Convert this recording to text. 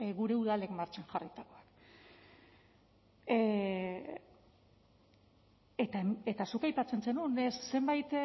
gure udalek martxan jarritakoak eta zuk aipatzen zenuen zenbait